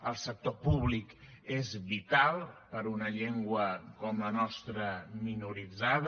el sector públic és vital per a una llengua com la nostra minoritzada